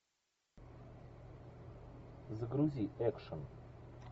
загрузи экшн